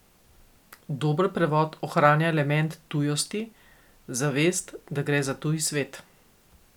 Dober prevod ohranja element tujosti, zavest, da gre za tuj svet.